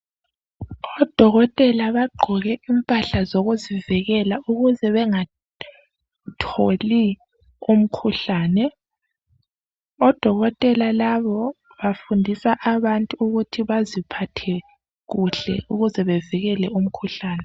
Odokotela bagqoke impahla zokuzivikela ukuze bengatholi umkhuhlane. Odokotela labo bafundisa abantu ukuthi baziphathe kuhle ukuze bevikele umkhuhlane.